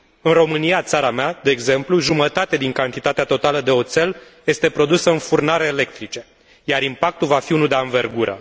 În România, țara mea, de exemplu, jumătate din cantitatea totală de oțel este produsă în furnale electrice, iar impactul va fi unul de anvergură.